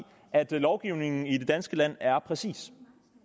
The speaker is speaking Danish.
at lovgivningen i det danske land er præcis